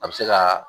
A bɛ se ka